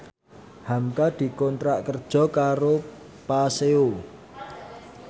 hamka dikontrak kerja karo Paseo